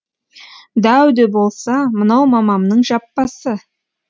дәу де болса мынау мамамның жаппасы